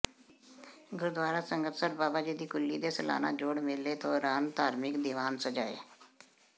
ਗੁਰਦੁਆਰਾ ਸੰਗਤਸਰ ਬਾਬਾ ਜੀ ਦੀ ਕੁੱਲੀ ਦੇ ਸਾਲਾਨਾ ਜੋੜ ਮੇਲੇ ਦੌਰਾਨ ਧਾਰਮਿਕ ਦੀਵਾਨ ਸਜਾਏ